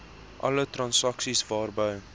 alle transaksies waarby